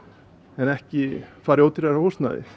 en ekki fara í ódýrara húsnæði